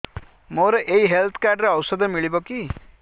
ମୋର ଏଇ health card ରେ ଔଷଧ ମିଳିବ କି